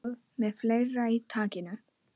Með fleira í takinu